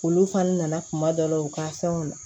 Olu fana nana kuma dɔ la u ka fɛnw na